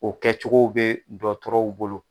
O kɛcogo be dɔkɔtɔrɔw bolo